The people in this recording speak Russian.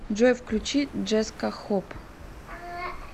джой включи джеска хоп